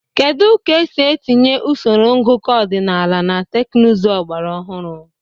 Kedu ka esi etinye usoro ngụkọ ọdịnala na teknụzụ ọgbara ọhụrụ?